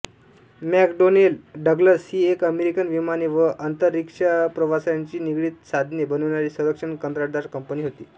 McDonnell Douglas ही एक American विमाने व अंतरिक्षप्रवासाशी निगडित साधने बनविणारी संरक्षण कंत्राटदार कंपनी होती